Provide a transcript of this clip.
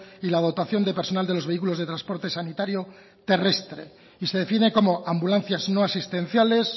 y la dotación de personal de los vehículos de transporte sanitario terrestre y se define como ambulancias no asistenciales